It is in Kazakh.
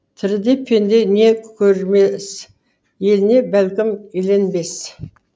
тіріде пенде не көрмес еліне бәлкім еленбес